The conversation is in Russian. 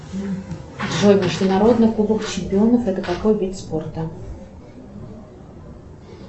джой международный кубок чемпионов это какой вид спорта